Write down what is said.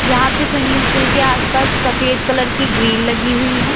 यहां पे swimming pool के आस पास सफेद कलर की ग्रिल लगी हुई है।